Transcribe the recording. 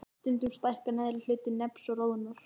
Stundum stækkar neðri hluti nefs og roðnar.